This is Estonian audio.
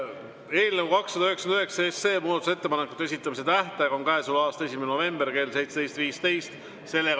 Eelnõu 299 muudatusettepanekute esitamise tähtaeg on käesoleva aasta 1. november kell 17.15.